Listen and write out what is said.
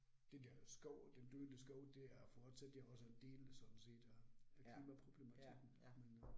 Det der skov den døde skov, det øh forstatte jo også en del sådan set øh klimaproblematikken men øh